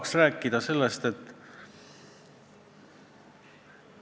Aga ma mõistan, et väga paljud ei saagi aru, mis on oma olemuselt trahv ja mis asi on sunniraha.